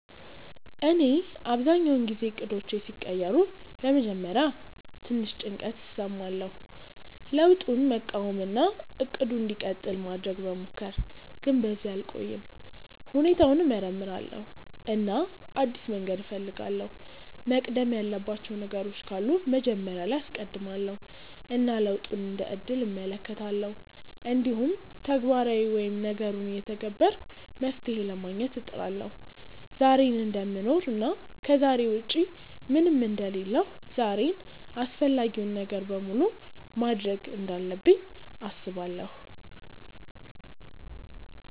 እኔ አብዛኛውን ጊዜ እቅዶቼ ሲቀየሩ በመጀመሪያ ትንሽ ጭንቀት እሰማለሁ፣ ለውጡን መቃወም እና “እቅዱ እንዲቀጥል” ማድረግ መሞከር፣ ግን በዚያ አልቆይም። ሁኔታውን እመርምራለሁ እና አዲስ መንገድ እፈልጋለሁ፤ መቅደም ያለባቸው ነገሮች ካሉ መጀመሪያ ላይ አስቀድማለው እና ለውጡን እንደ እድል እመለከታለሁ። እንዲሁም ተግባራዊ ወይም ነገሩን እየተገበርኩ መፍትሄ ለማግኘት እጥራለሁ። ዛሬን እደምኖር እና ከዛሬ ውጪ ምንም አንደ ሌለሁ ዛሬን አፈላጊውን ነገር በሙሉ ማድርግ እንዳለብኝ አስባለው።